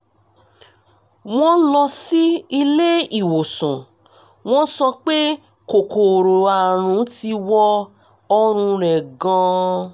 wọ́n lọ sí ilé ìwòsàn wọ́n sọ pé kòkòrò àrùn ti wọ ọ̀rùn rẹ̀ gan-an